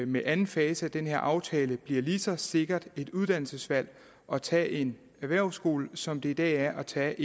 med anden fase af denne aftale bliver lige så sikkert et uddannelsesvalg at tage en erhvervsskoleuddannelse som det i dag er at tage